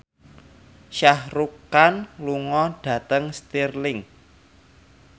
Shah Rukh Khan lunga dhateng Stirling